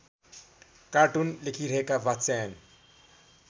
cartoon लेखिरहेका वात्स्यायन